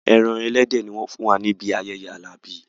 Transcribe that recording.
Ẹran ẹlẹ́dẹ̀ ni wọ́n fún wa níbi ayẹyẹ Alabi